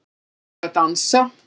Þau eru að dansa